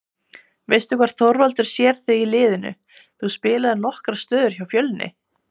Veistu hvar Þorvaldur sér þig í liðinu, þú spilaðir nokkrar stöður hjá Fjölni?